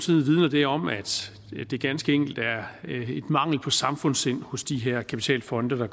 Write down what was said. vidner det om at det ganske enkelt er en mangel på samfundssind hos de her kapitalfonde der